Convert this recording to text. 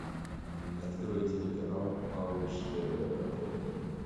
открой телеканал малыш тв на тв